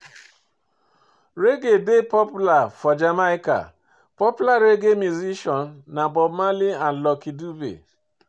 Reggae dey popular for Jamaica, popular reggae musician na Bob Marley and Lucky Dube